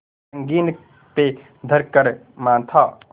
संगीन पे धर कर माथा